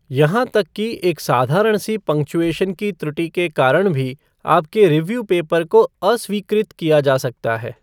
यहां तक कि एक साधारण सी पंक्चुएशन की त्रुटि के कारण भी आपके रिव्यू पेपर को अस्वीकृत किया जा सकता है।